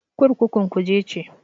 Kurkukun Kuje ce.